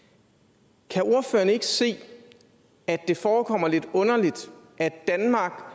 til kan ordføreren ikke se at det forekommer lidt underligt at danmark